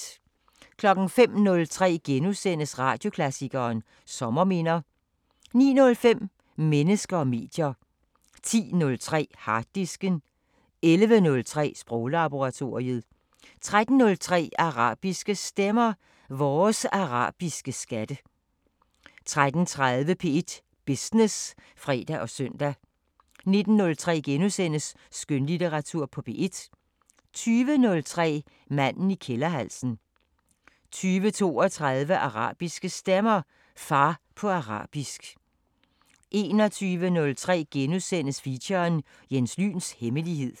05:03: Radioklassikeren: Sommerminder * 09:05: Mennesker og medier 10:03: Harddisken 11:03: Sproglaboratoriet 13:03: Arabiske Stemmer: Vores arabiske skatte 13:30: P1 Business (fre og søn) 19:03: Skønlitteratur på P1 * 20:03: Manden i kælderhalsen 20:32: Arabiske Stemmer: Far på arabisk 21:03: Feature: Jens Lyns hemmelighed *